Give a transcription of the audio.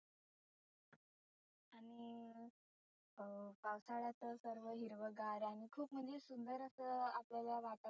आणि अं पावसाळ्यात सर्व हिरवंगार आणि खुप म्हणजे सुंदर असं आपल्याला वाटतं.